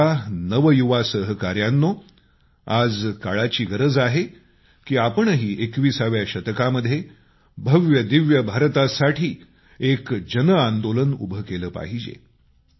माझ्या नवयुवा सहकाऱ्यांनो आज काळाची गरज आहे की आपणही 21व्या शतकामध्ये भव्य दिव्य भारतासाठी एक जनआंदोलन उभं केलं पाहिजे